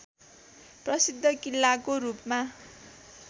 प्रसिद्ध किल्लाको रूपमा